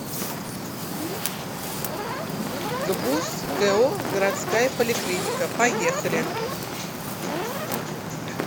гбуз ко городская поликлиника поехали